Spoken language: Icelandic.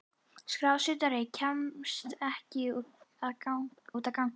Skrásetjari kemst ekki út að ganga.